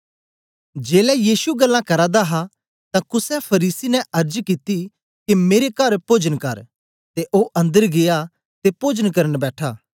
जेलै यीशु गल्लां करा दा हा तां कुसे फरीसी ने अर्ज कित्ती के मेरे कर पोजन कर ते ओ अंदर गीया ते पोजन करन बैठा